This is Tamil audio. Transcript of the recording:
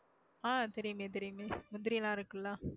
ஆஹ் தெரியுமே தெரியுமே முந்திரியெல்லாம் இருக்குல்ல